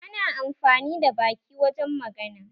Ana amfani da baki wajen magana